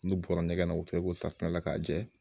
N'u bɔra ɲɛgɛn na u filɛ ko safunɛ la k'a jɛ